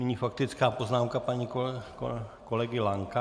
Nyní faktická poznámka pana kolegy Lanka.